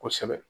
Kosɛbɛ